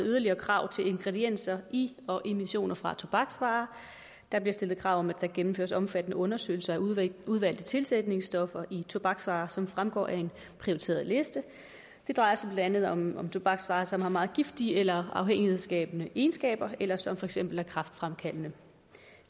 yderligere krav til ingredienser i og emissioner fra tobaksvarer der bliver stillet krav om at der gennemføres omfattende undersøgelser af udvalgte tilsætningsstoffer i tobaksvarer som fremgår af en prioriteret liste det drejer sig blandt andet om tobaksvarer som har meget giftige eller afhængighedsskabende egenskaber eller som for eksempel er kræftfremkaldende